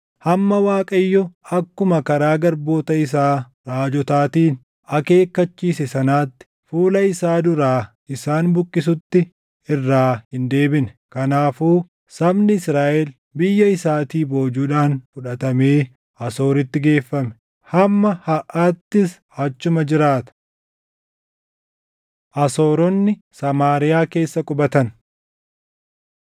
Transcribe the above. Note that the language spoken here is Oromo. hamma Waaqayyo akkuma karaa garboota isaa raajotaatiin akeekkachiise sanatti fuula isaa duraa isaan buqqisutti irraa hin deebine. Kanaafuu sabni Israaʼel biyya isaatii boojuudhaan fudhatamee Asooritti geeffame; hamma harʼaattis achuma jiraata. Asooronni Samaariyaa Keessa Qubatan